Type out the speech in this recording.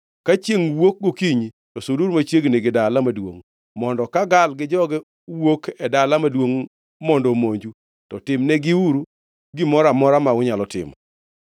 Ka chiengʼ wuok gokinyi, to suduru machiegni gi dala maduongʼ, mondo ka Gaal gi joge wuok e dala maduongʼ mondo omonju, to timnegiuru gimoro amora ma unyalo timo.”